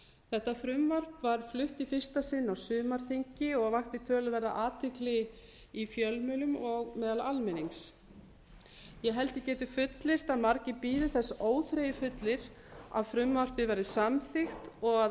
þetta frumvarp var flutt í fyrsta sinn á sumarþingi og vakti töluverða athygli í fjölmiðlum og á meðal almennings ég held ég geti fullyrt að margir bíði þess óþreyjufullir að frumvarpið verði samþykkt og að